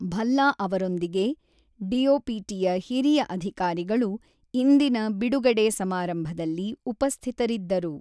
ಭಲ್ಲಾ ಅವರೊಂದಿಗೆ ಡಿಓಪಿಟಿಯ ಹಿರಿಯ ಅಧಿಕಾರಿಗಳು ಇಂದಿನ ಬಿಡುಗಡೆ ಸಮಾರಂಭದಲ್ಲಿ ಉಪಸ್ಥಿತರಿದ್ದರು.